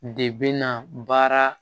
De bɛna baara